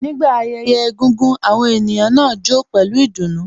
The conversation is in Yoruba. Nígbà ayẹyẹ egúngún, àwọn ènìyàn náà jó pẹlu ìdùnnú